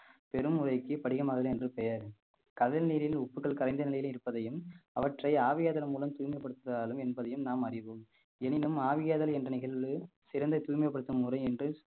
பெரும் படிகமாதல் என்று பெயர் கடல் நீரில் உப்புகள் கரைந்த நிலையில் இருப்பதையும் அவற்றை ஆவியாதல் மூலம் தூய்மைப்படுத்துதாலும் என்பதையும் நாம் அறிவோம் எனினும் ஆவியாதல் என்ற நிகழ்வு சிறந்த தூய்மைப்படுத்தும் முறை என்று